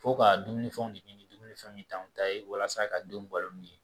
Fo ka dumunifɛnw de ɲini dumunifɛnw t'anw ta ye walasa ka denw balo ni